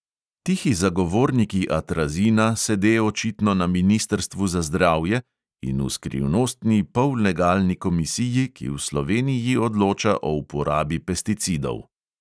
Tihi zagovorniki atrazina sede očitno na ministrstvu za zdravje in v skrivnostni pollegalni komisiji, ki v sloveniji odloča o uporabi pesticidov.